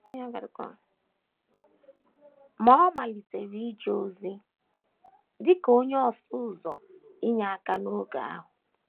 Ma, ọ malitere ije ozi dị ka onye ọsụ ụzọ inyeaka n’otu oge ahụ.